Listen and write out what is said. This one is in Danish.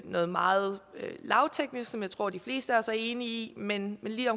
noget meget lavteknisk som jeg tror at de fleste af os er enige i men lige